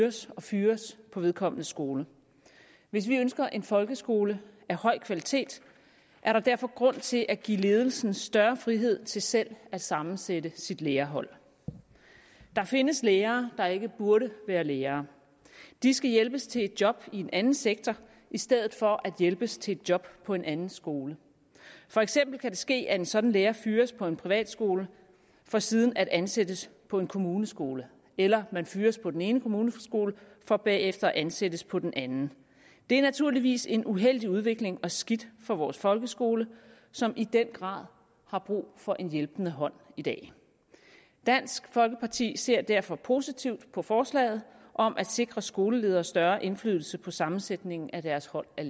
hyres og fyres på vedkommendes skole hvis vi ønsker en folkeskole af høj kvalitet er der derfor grund til at give ledelsen større frihed til selv at sammensætte sit lærerhold der findes lærere der ikke burde være lærere de skal hjælpes til et job i en anden sektor i stedet for at hjælpes til et job på en anden skole for eksempel kan det ske at en sådan lærer fyres på en privatskole for siden at ansættes på en kommuneskole eller at en lærer fyres på den ene kommuneskole for bagefter at ansættes på den anden det er naturligvis en uheldig udvikling og skidt for vores folkeskole som i den grad har brug for en hjælpende hånd i dag dansk folkeparti ser derfor positivt på forslaget om at sikre skoleledere større indflydelse på sammensætningen af deres hold af